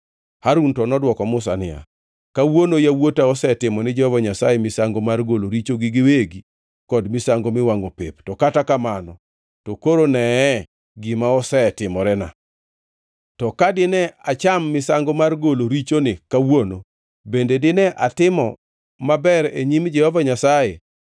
Harun to nodwoko Musa niya, “Kawuono yawuota osetimo ni Jehova Nyasaye misango mar golo richogi giwegi kod misango miwangʼo pep, to kata kamano to koro neye gima osetimorena! To ka dine acham misango mar golo richoni kawuono, bende dine atimo maber e nyim Jehova Nyasaye?”